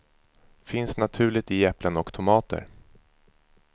Finns naturligt i äpplen och tomater.